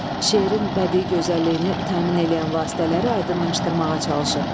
Şeirin bədii gözəlliyini təmin eləyən vasitələri aydınlaşdırmağa çalışın.